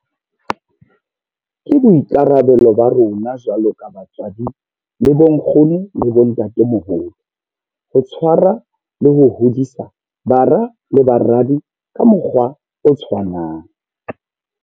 Ke boikarabelo ba rona jwalo ka batswadi le bonkgono le bontatemoholo ho tshwarwa le ho hodisa bara le baradi ka mokgwa o tshwanang.